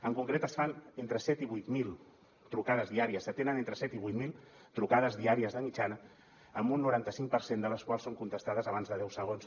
en concret es fan entre set i vuit mil trucades diàries s’atenen entre set i vuit mil trucades diàries de mitjana un noranta cinc per cent de les quals són contestades abans de deu segons